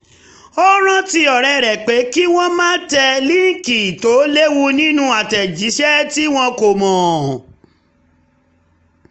ó rántí ọ̀rẹ́ rẹ pé kí wọ́n má tẹ línkì tó lewu nínú àtẹ̀jísẹ́ tí wọ́n kò mọ